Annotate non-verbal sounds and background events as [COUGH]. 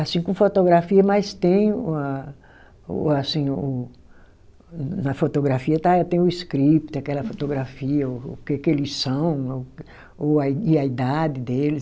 Assim com fotografia, mas tem o a, o assim o, na fotografia está tem o script, aquela fotografia, o o que eles são, [UNINTELLIGIBLE] e a idade deles.